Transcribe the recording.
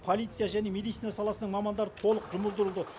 полиция және медицина саласының мамандары толық жұмылдырылды